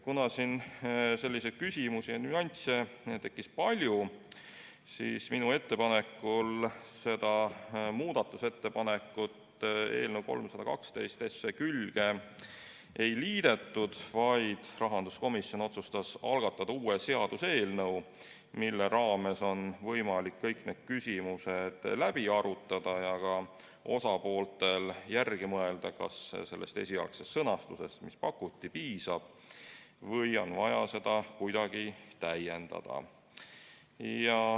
Kuna selliseid küsimusi ja nüansse tekkis palju, siis minu ettepanekul seda muudatusettepanekut eelnõu 312 külge ei liidetud, vaid rahanduskomisjon otsustas algatada uue seaduseelnõu, mille puhul on võimalik kõik need küsimused läbi arutada ja ka osapooltel järele mõelda, kas sellest esialgsest sõnastusest, mis pakuti, piisab või on vaja seda kuidagi täiendada.